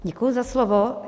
Děkuji za slovo.